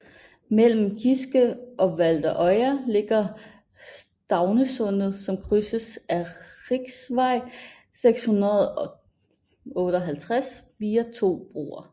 Mellem Giske og Valderøya ligger Staurnessundet som krydses af riksvei 658 via to broer